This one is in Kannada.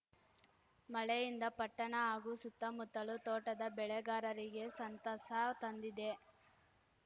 ಮಳೆಯಿಂದ ಪಟ್ಟಣ ಹಾಗೂ ಸುತ್ತಮುತ್ತಲು ತೋಟದ ಬೆಳೆಗಾರರಿಗೆ ಸಂತಸ ತಂದಿದೆ